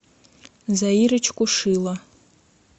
заирочку шило